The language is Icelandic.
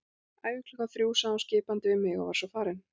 Æfing klukkan þrjú sagði hún skipandi við mig og var svo farin.